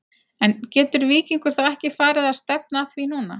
En getur Víkingur þá ekki farið að stefna að því núna?